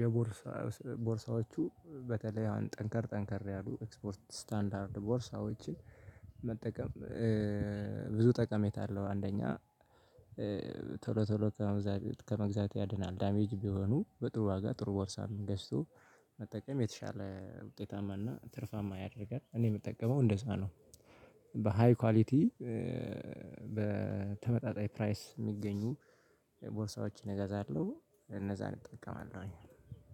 የቦርሳ ስለቦርሳዎቹ በተለይ አሁን ጠንከር ጠንከር ያሉ ኤክስፖርት ስታንዳርድ ቦርሳዎችን መጠቀም ብዙ ጠቀሜታ አለው። አንደኛ ቶሎ ቶሎ ከመግዛት ከመግዛት ያድናል ዳሜጅ ቢሆኑ በጥሩ ዋጋ ጥሩ ቦርሳም ገዝቶ መጠቀም የተሻለ ውጤታማና ትርፋማ ያደርጋል። እኔ የምጠቀመው እንደዛ ነው። በሃይ ኳሊቲ በተመጣጣኝ ፕራይስ የሚገኙ ቦርሳዎችን እገዛለሁ እነዛን እጠቀማለሁኝ።